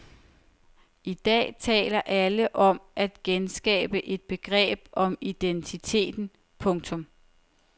I dag taler alle om at genskabe et begreb om identiteten. punktum